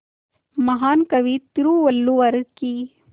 महान कवि तिरुवल्लुवर की